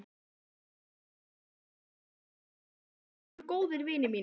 Strákarnir í Sæskrímslunum voru góðir vinir mínir.